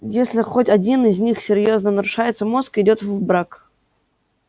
если хоть один из них серьёзно нарушается мозг идёт в брак